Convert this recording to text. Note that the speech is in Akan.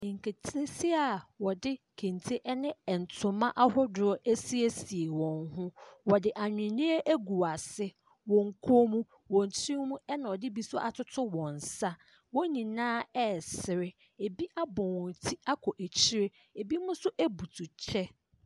Nketesia a wɔde kente ɛne ntoma ahodoɔ ɛsiesie wɔn ho. Wɔde ahweneɛ agu wɔase, wɔn kɔn mu, wɔn tiri ho ɛna wɔde bi atoto wɔn nsa. Wɔn nyinaa ɛresere. Ebi abɔ wɔn ti akɔ akyiri. Ebi nso ebutu kyɛ.